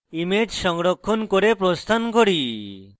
image সংরক্ষণ করে প্রস্থান করি